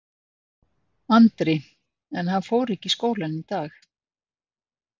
Andri: En hann fór ekki í skólann í dag?